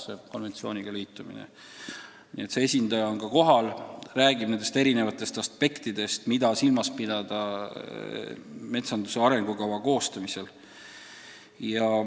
Nii et Euroopa Metsainstituudi esindaja on ka kohal ja räägib erinevatest aspektidest, mida silmas pidada metsanduse arengukava koostamisel.